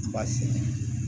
Baasi tɛ